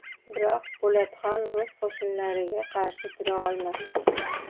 Biroq Po‘latxon rus qo‘shinlariga qarshi tura olmadi.